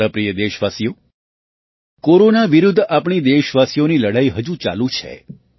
મારા પ્રિય દેશવાસીઓ કોરોના વિરુદ્ધ આપણી દેશવાસીઓની લડાઈ હજુ ચાલુ છે